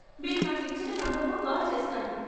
మీరు నాకు ఇచ్చిన నంబరుకు కాల్ చేస్తాను.